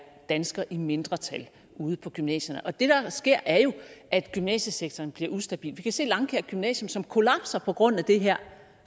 danskere i mindretal ude på gymnasierne det der sker er jo at gymnasiesektoren bliver ustabil vi kan se at langkaer gymnasium kollapser på grund af det her